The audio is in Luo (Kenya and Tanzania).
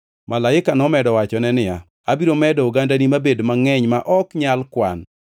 Malaika nomedo wachone niya, “Abiro medo ogandani mabed mangʼeny ma ok nyal kwan.”